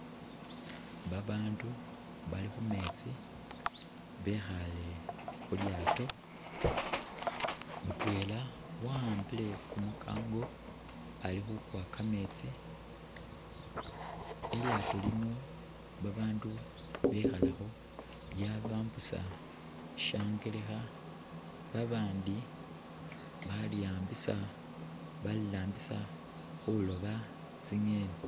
Babandu bali khumetsi bekhale khulyaato ,mutwela wa'ambile kumukango Ali khukuwa kametsi, ilyaato lino babandu bekhalakho lyabambusa shyangelekha ,babandi baliwambisa balirambisa khuloba tsi'ngeni.